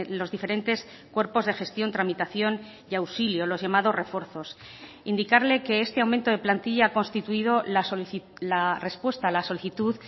los diferentes cuerpos de gestión tramitación y auxilio los llamados refuerzos indicarle que este aumento de plantilla ha constituido la respuesta a la solicitud